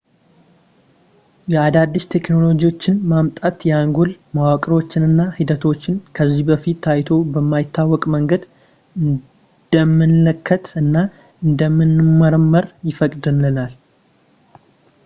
የአዳዲስ ቴክኖሎጂዎች መምጣት የአንጎል መዋቅሮችን እና ሂደቶችን ከዚህ በፊት ታይቶ በማይታወቅ መንገድ እንድንመለከት እና እንድንመረምር ይፈቅድልናል